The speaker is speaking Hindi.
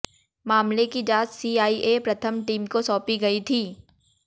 मामले की जांच सीआइए प्रथम टीम को सौंपी गई थी